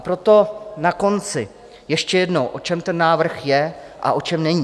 A proto na konci ještě jednou, o čem ten návrh je a o čem není.